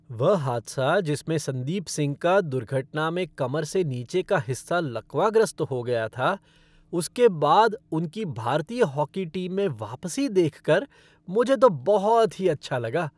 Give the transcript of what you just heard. वह हादसा जिसमें संदीप सिंह का दुर्घटना में कमर से नीचे का हिस्सा लकवाग्रस्त हो गया था, उसके बाद उनकी भारतीय हॉकी टीम में वापसी देखकर मुझे तो बहुत ही अच्छा लगा।